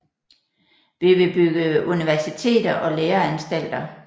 Vi vil bygge universiteter og læreanstalter